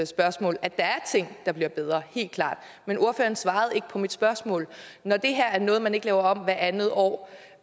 spørgsmål at der er ting der bliver bedre helt klart men ordføreren svarede ikke på mit spørgsmål når det her er noget man ikke laver om hvert andet år